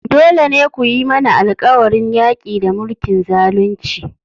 Dole ne ku yi mana alƙawarin yaƙi da mulkin zalunci!